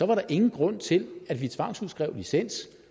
var der ingen grund til at vi tvangsudskrev licens